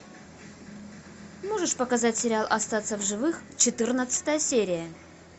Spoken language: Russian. можешь показать сериал остаться в живых четырнадцатая серия